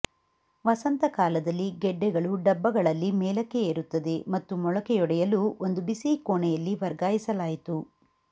ವಸಂತಕಾಲದಲ್ಲಿ ಗೆಡ್ಡೆಗಳು ಡಬ್ಬಗಳಲ್ಲಿ ಮೇಲಕ್ಕೆ ಏರುತ್ತದೆ ಮತ್ತು ಮೊಳಕೆಯೊಡೆಯಲು ಒಂದು ಬಿಸಿ ಕೋಣೆಯಲ್ಲಿ ವರ್ಗಾಯಿಸಲಾಯಿತು